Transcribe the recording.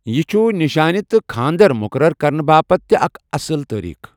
یہِ چھُ نِشٲنہِ تہٕ خانٛدر مُقرر کرنہٕ باپتھ تہِ اکھ اصٕل تٲریٖخ۔